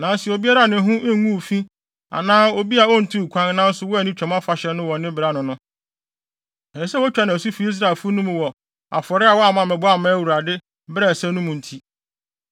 Nanso obiara a ne ho nguu fi anaa obi a ontuu kwan nanso wanni Twam Afahyɛ no wɔ ne bere ano no, ɛsɛ sɛ wotwa no asu afi Israelfo no mu wɔ afɔre a wamma ammɛbɔ amma Awurade bere a ɛsɛ mu no nti.